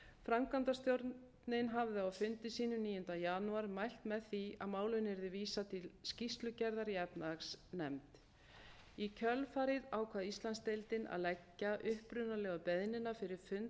framkvæmdastjórnin hafði á fundi sínum níunda janúar mælt með því að málinu yrði vísað til skýrslugerðar í efnahagsnefnd í kjölfarið ákvað íslandsdeildin að leggja upprunalegu beiðnina fyrir fund